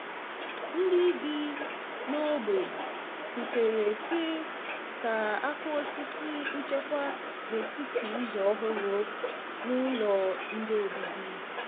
Ndị bi n’ógbè kwutere si ka a um kuọ osisi nchekwa n’etiti ụzọ ọhụrụ um na ụlọ nde obibi.